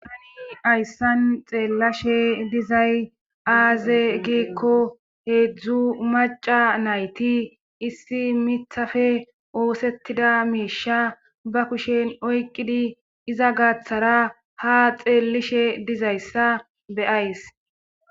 ayssan xeellashe dizay aaze giikko heedzdzu maca nayti issi mithafe oosettida miisha ba kushen oyqqidi iza gaaththara ha xeellishe dizayssa beyays